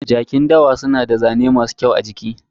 Jakin dawa suna da zane masu kyau a jiki.